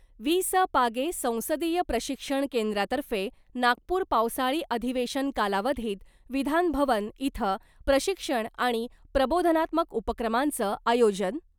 वि स पागे संसदीय प्रशिक्षण केंद्रातर्फे नागपूर पावसाळी अधिवेशन कालावधीत विधानभवन इथं प्रशिक्षण आणि प्रबोधनात्मक उपक्रमांचं आयोजन .